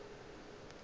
nna ke be ke re